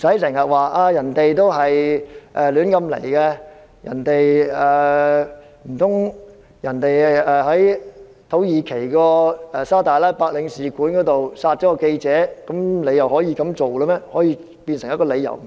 難道一名記者在土耳其沙特阿拉伯領事館被殺，你便認為他們有理由這樣做？